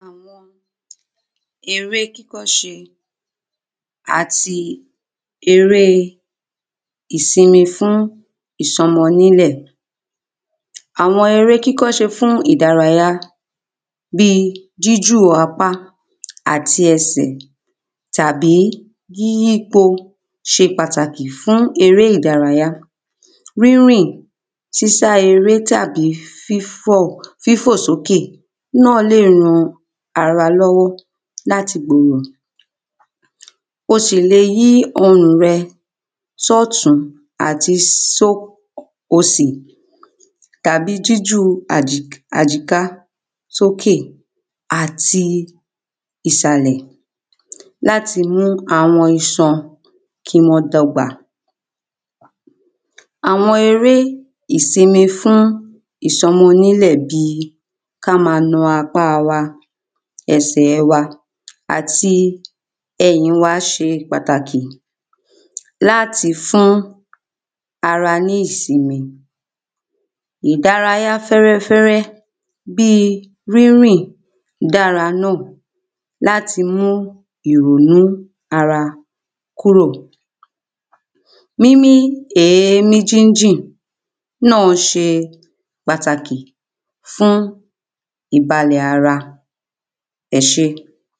eré kíkọ́ṣe ati eré ìsinmi fún ìsọmọ nílẹ̀ àwọn eré kíkọ́ṣe fún ìdárayá bíi jíjù apá àti esè tàbí yíyípo ṣe pàtàkì fún eré ìdárayá rírìn sísá eré tàbí fífò sókè náà le ran ara lọ́wọ́ láti gbòrò o sì le yí ọrùn rẹ sọ́tùń àti só òsì tàbí jíju àjíká sókè àti ìsàlẹ̀ láti mu awọn iṣan kí wọ́n dọ́gba àwọn eré ìsinmi fún ìsọmọnílẹ̀ bíi káma na apá wa ẹsẹ̀ wa àti ẹ̀yìn wa se pàtàkì láti fún ara ní ìsinmi ìdárayá fẹ́rẹ́fẹ́rẹ́ bíi rínrìn dára náà láti mú ìwúnú ara kúrò mímí èémí jínjìn náà ṣe pàtàkì fún ìbalẹ̀ ara ẹṣé